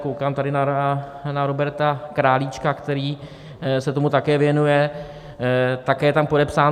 Koukám tady na Roberta Králíčka, který se tomu také věnuje, také je tam podepsán.